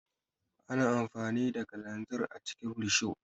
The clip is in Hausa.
Ana amfani da kalanzir a cikin risho.